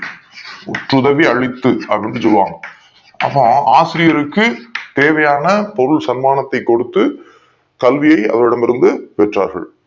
முற்று தனில் அளித்து அப்டின்னு சொல்லுவாங்க ஆகா ஆசிரியருக்கு தேவையான பொது சன்மானத்தை கல்வியே அவரிடமிருது பெற்றார்கள்